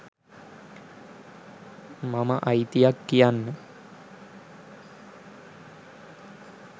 මම අයිතියක් කියන්න